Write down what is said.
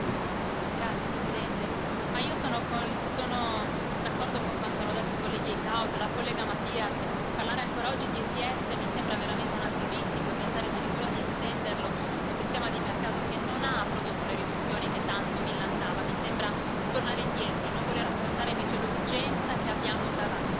Signora Presidente, onorevoli colleghi, io sono d'accordo con quanto hanno detto il collega Eickhout, la collega Matias, parlare ancora oggi di ETS mi sembra veramente anacronistico e pensare addirittura di estenderlo in un sistema di mercato che non ha prodotto le riduzioni che tanto millantava, mi sembra di tornare indietro e non voler affrontare invece l'urgenza che abbiamo davanti.